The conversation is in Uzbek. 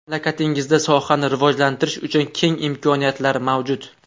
Mamlakatingizda sohani rivojlantirish uchun keng imkoniyatlar mavjud.